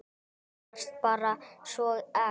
Þú varst bara svo ekta.